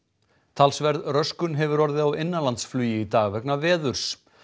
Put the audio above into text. talsverð röskun hefur orðið á innanlandsflugi í dag vegna veðurs